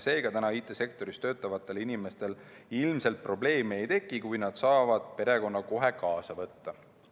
Seega, IT‑sektoris töötavatel inimestel ilmselt probleeme ei teki, kui nad saavad perekonna kohe kaasa võtta.